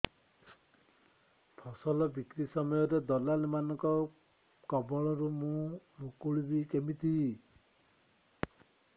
ଫସଲ ବିକ୍ରୀ ସମୟରେ ଦଲାଲ୍ ମାନଙ୍କ କବଳରୁ ମୁଁ ମୁକୁଳିଵି କେମିତି